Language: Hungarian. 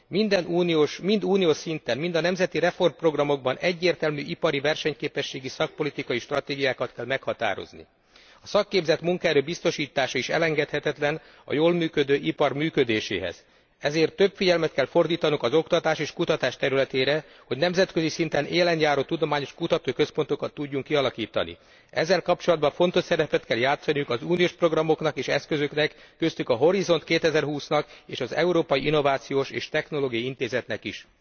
Mind uniós szinten, mind a nemzeti reformprogramokban egyértelmű ipari versenyképességi szakpolitikai stratégiákat kell meghatározni. A szakképzett munkaerő biztosítása is elengedhetetlen a jól működő ipar működéséhez, ezért több figyelmet kell fordítanunk az oktatás és kutatás területére, hogy nemzetközi szinten élenjáró tudományos kutatóközpontokat tudjunk kialakítani. Ezzel kapcsolatban fontos szerepet kell játszaniuk az uniós programoknak és eszközöknek, köztük a Horizont 2020 nak és az Európai Innovációs és Technológiai Intézetnek is.